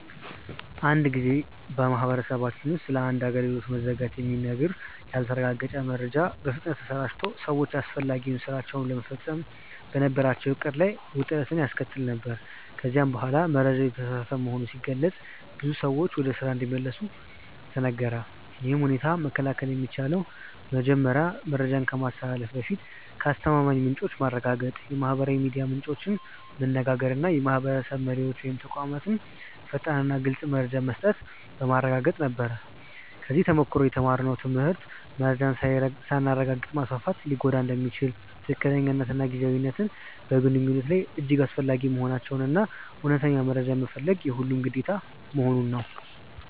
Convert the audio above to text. አንድ ጊዜ በማህበረሰባችን ውስጥ ስለ አንድ አገልግሎት መዘጋት የሚነገር ያልተረጋገጠ መረጃ በፍጥነት ተሰራጭቶ ሰዎች አስፈላጊ ሥራቸውን ለመፈጸም በነበራቸው ዕቅድ ላይ ውጥረት ያስከተለ ነበር፤ ከዚያ በኋላ መረጃው የተሳሳተ መሆኑ ሲገለጥ ብዙ ሰዎች ወደ ስራ እንዲመለሱ ተነገረ። ይህን ሁኔታ መከላከል የሚቻለው መረጃን ከማስተላለፍ በፊት ከአስተማማኝ ምንጮች ማረጋገጥ፣ የማህበራዊ ሚዲያ ምንጮችን መነጋገር እና የማህበረሰብ መሪዎች ወይም ተቋማት ፈጣንና ግልፅ መረጃ መስጠት በማረጋገጥ ነበር። ከዚህ ተሞክሮ የተማርነው ትምህርት መረጃን ሳናረጋግጥ ማስፋፋት ሊጎዳ እንደሚችል፣ ትክክለኛነትና ጊዜያዊነት በግንኙነት ላይ እጅግ አስፈላጊ መሆናቸውን እና እውነተኛ መረጃ መፈለግ የሁሉም ግዴታ መሆኑን ነው።